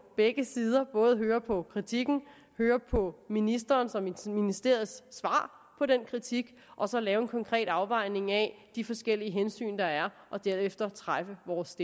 begge sider både høre på kritikken og høre på ministerens og ministeriets svar på den kritik og så lave en konkret afvejning af de forskellige hensyn der er og derefter træffe vores